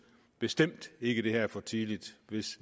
bestemt ikke at det her er for tidligt